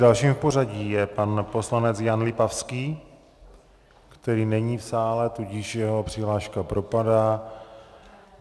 Dalším v pořadí je pan poslanec Jan Lipavský, který není v sále, tudíž jeho přihláška propadá.